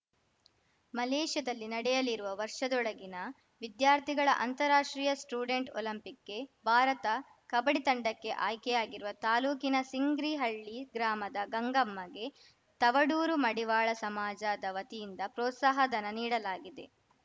ಮಲೇಷ್ಯಾದಲ್ಲಿ ನಡೆಯಲಿರುವ ವರ್ಷದೊಳಗಿನ ವಿದ್ಯಾರ್ಥಿಗಳ ಅಂತಾರಾಷ್ಟ್ರೀಯ ಸ್ಟೂಡೆಂಟ್‌ ಒಲಂಪಿಕ್‌ಗೆ ಭಾರತ ಕಬಡ್ಡಿ ತಂಡಕ್ಕೆ ಆಯ್ಕೆಯಾಗಿರುವ ತಾಲೂಕಿನ ಸಿಂಗ್ರಿಹಳ್ಳಿ ಗ್ರಾಮದ ಗಂಗಮ್ಮಗೆ ತವಡೂರು ಮಡಿವಾಳ ಸಮಾಜದ ವತಿಯಿಂದ ಪ್ರೋತ್ಸಾಹ ಧನ ನೀಡಲಾಗಿದೆ